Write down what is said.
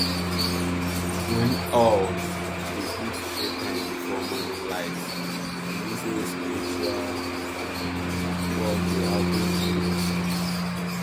when owl dey hoot three times before morning light e mean say spiritual work dey happen close.